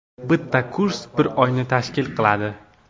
Bitta kurs bir oyni tashkil qiladi.